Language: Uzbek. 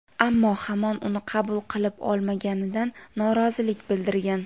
ammo hamon uni qabul qilib olmaganidan norozilik bildirgan.